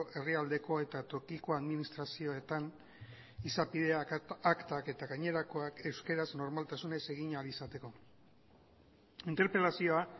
herrialdeko eta tokiko administrazioetan izapideak aktak eta gainerakoak euskaraz normaltasunez egin ahal izateko interpelazioa